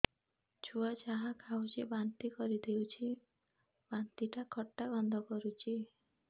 ଛୁଆ ଯାହା ଖାଉଛି ବାନ୍ତି କରିଦଉଛି ବାନ୍ତି ଟା ଖଟା ଗନ୍ଧ କରୁଛି